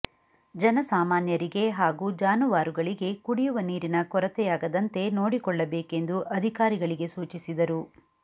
ಜನ ಸಾಮಾನ್ಯರಿಗೆ ಹಾಗೂ ಜಾನುವಾರುಗಳಿಗೆ ಕುಡಿಯುವ ನೀರಿನ ಕೊರತೆಯಾಗದಂತೆ ನೋಡಿಕೊಳ್ಳಬೇಕೆಂದು ಅಧಿಕಾರಿಗಳಿಗೆ ಸೂಚಿಸಿದರು